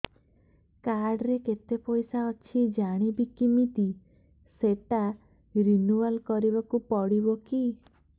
card ରେ କେତେ ପଇସା ଅଛି ଜାଣିବି କିମିତି ସେଟା ରିନୁଆଲ କରିବାକୁ ପଡ଼ିବ କି